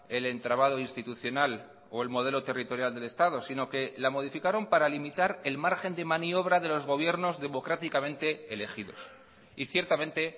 el entramado institucional o el modelo territorial del estado sino que la modificaron para limitar el margen de maniobra de los gobiernos democráticamente elegidos y ciertamente